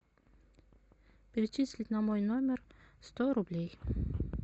перечислить на мой номер сто рублей